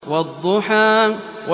وَالضُّحَىٰ